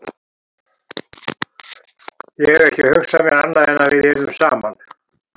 Ég hef ekki hugsað mér annað en að við yrðum saman.